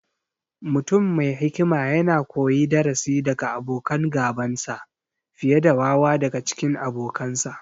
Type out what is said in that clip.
Mutum me hikima yakan koyi darasi daga abokan gabansa, fiye da wawa daga cikin abokansa.